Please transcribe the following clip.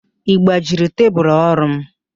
Ị gbajiri tebulu orụ m?